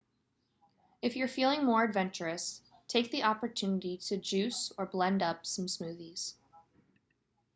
if you're feeling more adventurous take the opportunity to juice or blend up some smoothies